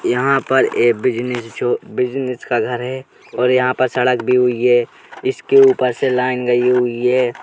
यहाँ पर एक बिजनेस जो बिजनेस का घर है और यहाँ पर सड़क भी हुई है। इसके ऊपर से लाइन गई हुई है।